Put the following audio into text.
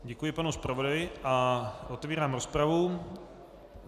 Děkuji panu zpravodaji a otevírám rozpravu.